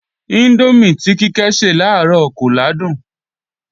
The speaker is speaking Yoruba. Índómì tí Kíkẹ́ se làárọ̀ kò làádùn